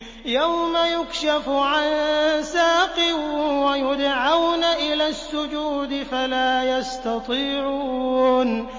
يَوْمَ يُكْشَفُ عَن سَاقٍ وَيُدْعَوْنَ إِلَى السُّجُودِ فَلَا يَسْتَطِيعُونَ